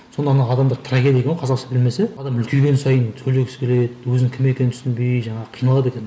сонда ана адамдар трагедия дейді ғой қазақша білмесе адам үлкейген сайын сөйлегісі келеді өзінің кім екенін түсінбей жаңағы қиналады екен